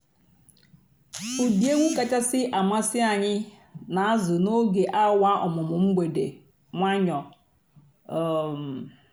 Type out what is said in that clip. ụ́dị́ ègwú kàchàsị́ àmásị́ ànyị́ n'àzụ́ n'óge àwà ọ̀mụ́mụ́ m̀gbèdé ǹwànyọ́. um